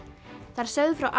þær sögðu frá